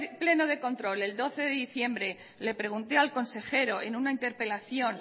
pleno de control el doce de diciembre le pregunté al consejero en una interpelación